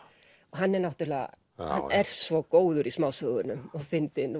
hann er svo góður í smásögunum og fyndinn